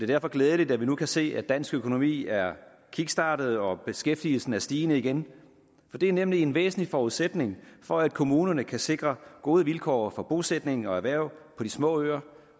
derfor glædeligt at vi nu kan se at dansk økonomi er kickstartet og beskæftigelsen er stigende igen for det er nemlig en væsentlig forudsætning for at kommunerne kan sikre gode vilkår for bosætning og erhverv på de små øer